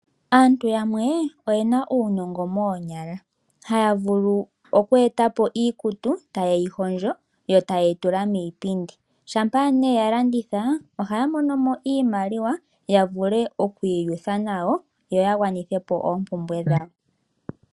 Aantu yamwe oye na uunongo moonyala; haya vulu oku eta po iikutu taye yi hondjo yo taye yi tula miipindi. Shampa nee ye yi landitha ohaya mono mo iimaliwa ya vule oku iyutha nayo yo ya gwanithe po oompumbwe dhawo.